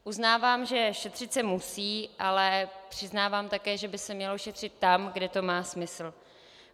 Uznávám, že šetřit se musí, ale přiznávám také, že by se mělo šetřit tam, kde to má smysl.